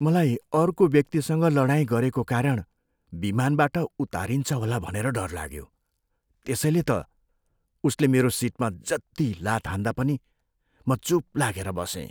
मलाई अर्को व्यक्तिसँग लडाइँ गरेको कारण विमानबाट उतारिन्छ होला भनेर डर लाग्यो। त्यसैले त उसले मेरो सिटमा जति लात हान्दा पनि म चुप लागेर बसेँ।